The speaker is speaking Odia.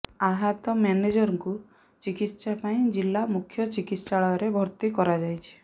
ଆହତ ମ୍ୟାନେଜରଙ୍କୁ ଚିକିତ୍ସା ପାଇଁ ଜିଲା ମୁଖ୍ୟ ଚିକିତ୍ସାଳୟରେ ଭର୍ତ୍ତି କରାଯାଇଛି